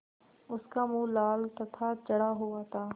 उसका मुँह लाल तथा चढ़ा हुआ था